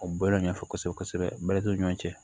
O bala ɲɛfɔ kosɛbɛ kosɛbɛ bɛrɛ t'o ɲɔgɔn cɛ